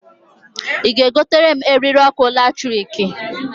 I ga e gotere m eriri ọkụ latrikǃ